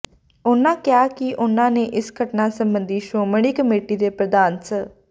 ਉਹਨਾਂ ਕਿਹਾ ਕਿ ਉਹਨਾਂ ਨੇ ਇਸ ਘਟਨਾ ਸਬੰਧੀ ਸ਼੍ਰੋਮਣੀ ਕਮੇਟੀ ਦੇ ਪ੍ਰਧਾਨ ਸ